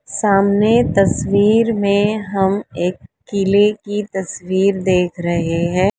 सामने तस्वीर में हम एक किले की तस्वीर देख रहे हैं।